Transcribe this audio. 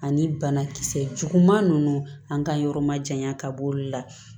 Ani banakisɛ juguman ninnu an ka yɔrɔ ma janya ka b'olu la